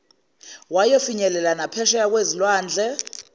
wayofinyelela naphesheya kwezilwandle